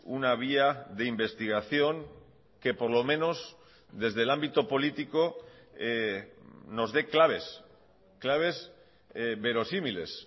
una vía de investigación que por lo menos desde el ámbito político nos dé claves claves verosímiles